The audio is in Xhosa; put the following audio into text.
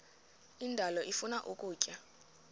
indalo ifuna ukutya